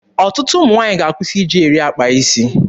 Ọtụtụ ụmụ nwaanyị ga-akwụsị iji eri akpa isi.